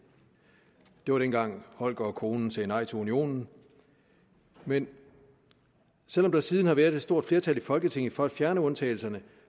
det var dengang holger og konen sagde nej til unionen men selv om der siden har været et stort flertal i folketinget for at fjerne undtagelserne